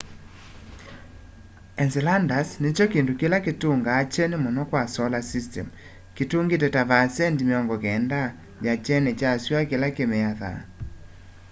enceladus nikyo kindu kila kitungaa kyeni muno kwa solar system kitungite ta 90 vaasendi ya kyeni kya sua kila kimiathaa